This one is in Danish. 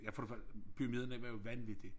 Ja for det første pyramiderne var jo vanvittige